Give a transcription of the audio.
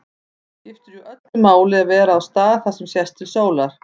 Það skiptir jú öllu máli að vera á stað þar sem sést til sólar.